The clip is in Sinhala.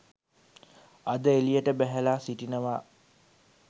අද එළියට බැහැල සිටිනවා.